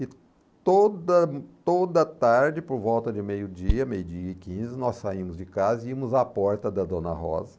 E toda toda tarde, por volta de meio-dia, meio-dia e quinze, nós saímos de casa e íamos à porta da Dona Rosa.